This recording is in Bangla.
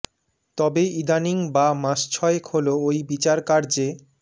তবে ইদানীং বা মাস ছয়েক হলো ওই বিচার কার্যে